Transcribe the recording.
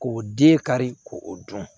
K'o di kari k'o o dun